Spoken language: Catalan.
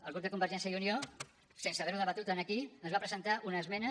el grup de convergència i unió sense haverho debatut aquí ens va presentar una esmena